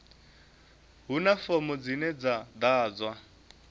huna fomo dzine dza ḓadzwa